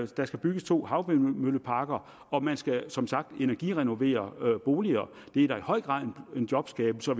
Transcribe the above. der skal bygges to havvindmølleparker og man skal som sagt energirenovere boliger det er da i høj grad en jobskabelse og